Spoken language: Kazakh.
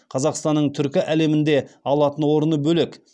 қазақстанның түркі әлемінде алатын орны бөлек